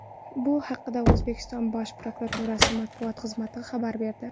Bu haqda O‘zbekiston Bosh prokuraturasi matbuot xizmati xabar berdi .